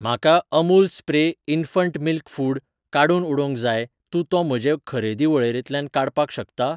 म्हाका Amul spray infant milk food ,काडून उडोवंक जाय तूं तो म्हजे खरेदी वळेरेंतल्यान काडपाक शकता?